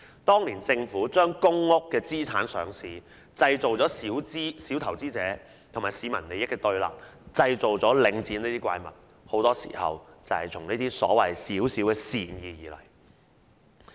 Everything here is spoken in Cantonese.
當年政府將公屋的資產上市，製造小投資者和市民利益的對立，製造出領展這種怪物，很多時候便是始於這些所謂的小小善意。